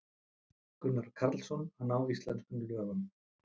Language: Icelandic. Gunnar Karlsson: Að ná íslenskum lögum.